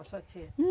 A sua tia.